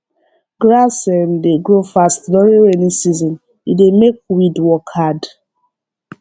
grass um dey grow fast during rainy season e dey make weed work hard